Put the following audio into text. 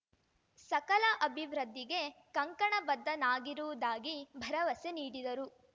ಸಕಲ ಅಭಿವೃದ್ಧಿಗೆ ಕಂಕಣಬದ್ಧನಾಗಿರುವುದಾಗಿ ಭರವಸೆ ನೀಡಿದರು